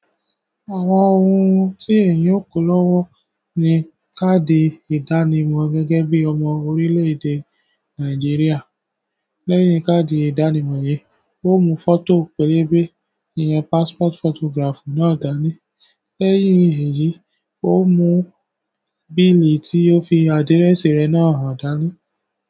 Àwọn ohun tí èèyàn ó kọlọ́wọ́ ni káàdì ìdánimọ̀ gẹ́gẹ́ bí ọmọ orílè-èdè Nàìjíríà. Lẹ́yìn káàdì ìdánimọ̀ yìí, ó mú fọ́tò pẹ̀lú bí i passport photograph náà dá ní. Lẹ́yìn èyí, ó mú bíìlì tí ó fi adírẹ́sì rẹ̀ náà han dáni.